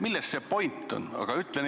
Milles see point on?